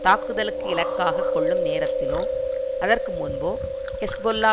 தாக்குதலுக்கு இலக்காக கொள்ளும் நேரத்திலோ அதற்கு முன்போ ஹெஸ்பொல்லா